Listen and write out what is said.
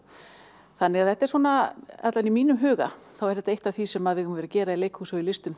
þetta er svona allavega í mínum huga þá er þetta eitt af því sem við eigum að vera að gera í leikhúsi og listum